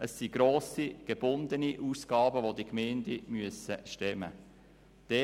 Es handelt sich dabei um grosse gebundene Ausgaben, die die Gemeinden stemmen müssen.